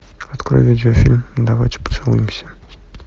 открой видеофильм давайте поцелуемся